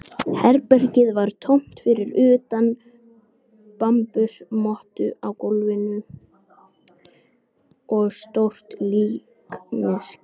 Herbergið var tómt fyrir utan bambusmottu á gólfinu og stórt líkneski.